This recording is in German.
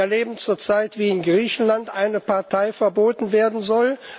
Wir erleben zurzeit, wie in Griechenland eine Partei verboten werden soll.